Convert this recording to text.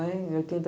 em oitenta